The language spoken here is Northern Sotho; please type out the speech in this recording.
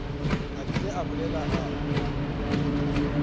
a bile a bolela a